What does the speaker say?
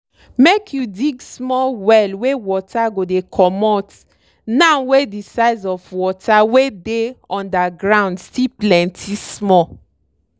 make you dig small well wey water go dey comot now wey de size of water wey dey under ground still plenty small.